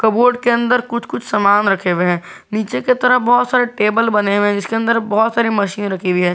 Board के अंदर कुछ कुछ सामान रखे हुए हैं नीचे की तरफ बहुत सारे टेबल बने हुए हैं जीसके अंदर बहुत सारे मशीन रखी हुई है।